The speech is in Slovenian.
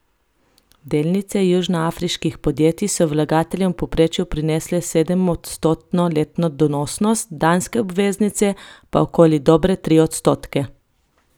Delnice južnoafriških podjetij so vlagateljem v povprečju prinesle sedemodstotno letno donosnost, danske obveznice pa okoli dobre tri odstotke.